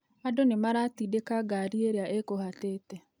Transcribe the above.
Andũnĩmaratindĩka ngari ĩrĩa ĩgũhaatĩte